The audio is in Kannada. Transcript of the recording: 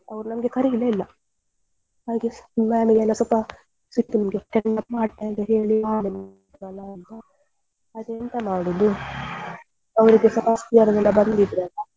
ಮಾಡಿ ಎಲ್ಲ ನಮಗೆ ಸ್ವಲ್ಪ send off ಮಾಡಲೇ ಇಲ್ಲ ಅಲಾ ಆದ್ರೆ ಎಂತ ಮಾಡುದು ಅವ್ರಿಗೆ ಸ ಎಲ್ಲ ಬಂದಿದ್ರಲ್ಲ ಹಾಗೆ ಆಯ್ತು ಆಮೇಲೆ ಇನ್ನು ಎಂತ ಮಾಡುದಂತ.